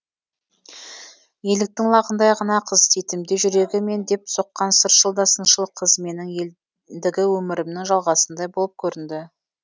еліктің лағындай ғана қыз титімдей жүрегі мен деп соққан сыршыл да сыншыл қыз менің өмірімнің жалғасындай болып көрінді